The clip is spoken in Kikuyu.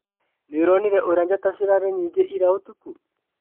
Nĩũronire ũrĩa njata cirarĩ nyingĩ ira ũtukũ?